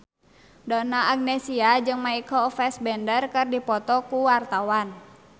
Donna Agnesia jeung Michael Fassbender keur dipoto ku wartawan